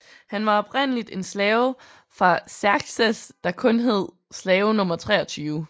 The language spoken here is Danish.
Han var oprindelig en slave fra Xerxes der kun hed slave nr 23